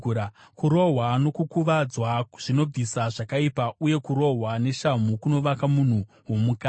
Kurohwa nokukuvadzwa zvinobvisa zvakaipa, uye kurohwa neshamhu kunovaka munhu womukati.